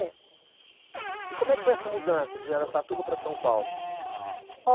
É. E como é que foi essa mudança de Araçatuba para São Paulo?